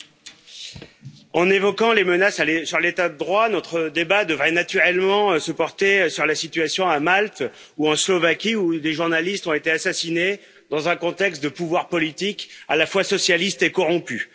Madame la Présidente, en évoquant les menaces sur l'état de droit, notre débat devrait naturellement se porter sur la situation à Malte ou en Slovaquie, là où des journalistes ont été assassinés dans un contexte de pouvoir politique à la fois socialiste et corrompu.